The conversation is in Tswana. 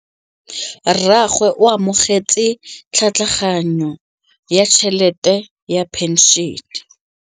Rragwe o amogetse tlhatlhaganyô ya tšhelête ya phenšene.